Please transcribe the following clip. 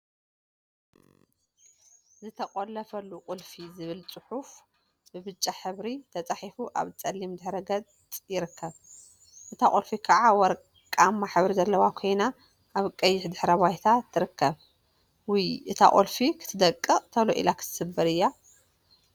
ዝተቆለፈሉ ቁልፊ ዝብል ፅሑፍ ብብጫ ሕብሪ ተፃሒፉ አብ ፀሊም ድሕረ ገፅ ይርከብ፡፡ እታ ቁልፊ ከዓ ወርቃማ ሕብሪ ዘለዋ ኮይና፤ አብ ቀይሕ ድሕረ ባይታ ትርከብ፡፡ ውይ! እታ ቁልፊ ክትደቅቅ ቶሎ ኢላ ክትስበር እያ፡፡